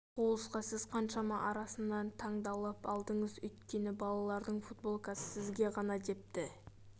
хулсқа сіз қаншама арасынан таңдалып алындыңыз өйткені балалардың футболкасы сізге ғана депті